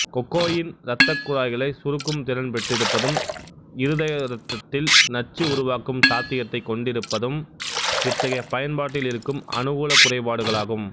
cocaine ரத்தக்குழாய்களை சுருக்கும் திறன் பெற்றிருப்பதும் இருதயரத்தத்தில் நச்சு உருவாக்கும் சாத்தியத்தைக் கொண்டிப்பதும் இத்தகைய பயன்பாட்டில் இருக்கும் அனுகூலக் குறைபாடுகளாகும்